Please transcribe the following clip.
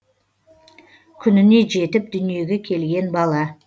күніне жетіп дүниеге келген бала